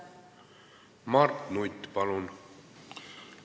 Mart Nutt, palun!